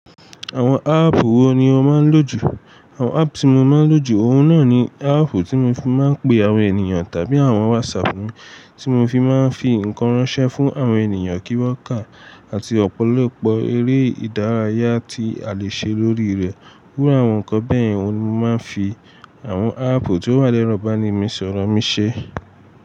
Àwọn áàpù wo ni o máa ń lò jù? Àwọn áàpù tí mo máa ń lò jù, òun náà ni áàpù tí mo fi máa ń pe àwọn ènìyàn tàbí àwọn WhatsApp mi tí mo fi máa ń fi nǹkan ránṣẹ́ fún àwọn ènìyàn kí wọ́n kà àti ọ̀pọ̀lọpọ̀ eré ìdárayá tí a lè ṣe lórí rẹ̀. Iru àwọn nǹkan bẹ́ẹ̀ yen oun ni mo máa ń fi àwọn áàpù tó wà lẹ́rọ̀ bá ni mi, sọ̀rọ̀ mí ṣe.